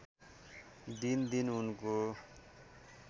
दिनदिन उनको